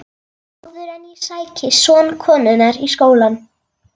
Áður en ég sæki son konunnar í skólann.